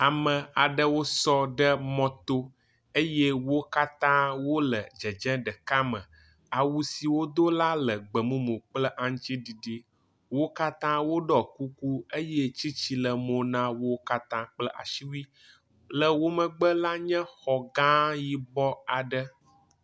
ame aɖewo sɔ ɖe mɔto eye wókatã wóle dzedze ɖeka me, awu si wodó la le gbemumu kple aŋtsiɖiɖi wókatã wóɖɔ kuku eye tsitsĩ le mo nawo katã kple asiwui le wó megbe la nye xɔ gã yibɔ aɖe